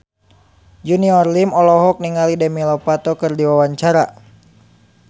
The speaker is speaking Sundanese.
Junior Liem olohok ningali Demi Lovato keur diwawancara